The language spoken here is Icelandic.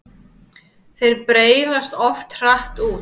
Þeir breiðast oft hratt út.